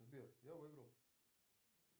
сбер я выиграл